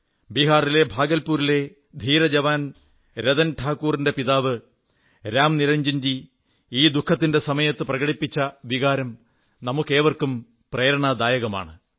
ബീഹാറിലെ ഭാഗൽപൂരിലെ ധീരജവാൻ രതൻ ഠാകൂറിന്റെ പിതാവ് രാംനിരഞ്ജൻജി ദുഃഖത്തിന്റെ ഈ സമയത്ത് പ്രകടിപ്പിച്ച വികാരം നമുക്കേവർക്കും പ്രേരണാദായകമാണ്